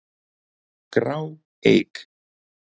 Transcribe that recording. grá, eig.